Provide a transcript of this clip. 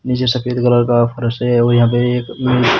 नीचे सफेद कलर का फर्श है और यहां पे एक--